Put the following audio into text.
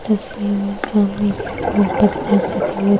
तस्वीर में सामने की ओर पत्थर रखे हुए --